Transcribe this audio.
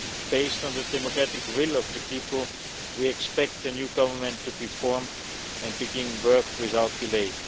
Based on the democratic will of the people, we expect a new government to be formed and begin work without delay.